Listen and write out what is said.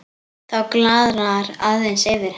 Þá glaðnar aðeins yfir henni.